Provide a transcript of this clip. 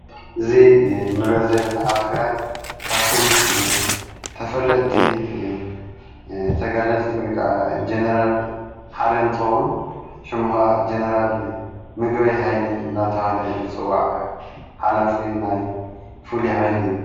እዙ ንርዮ ዘለነ ኣቲግራይ ካብቶም ተፈለጥቲ ተጋደልቲ ወይከዓ ጀነራል ሓደንትውን ሽሙኻ ጀነራል ምገወይ ሃይለ እናተሃለ ዘጽዋዕ ሓላፊ ናይ ፉል ኃይሊ እዩ።